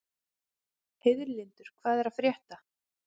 Heiðlindur, hvað er að frétta?